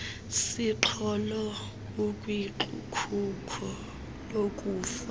siqholo ukwikhuko lokufa